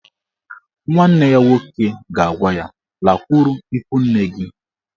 Nwanne ya nwoke ga-agwa ya "Lakwuru ikwu nne gị!